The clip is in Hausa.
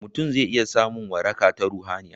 mutum zai iya samun waraka ta ruhaniya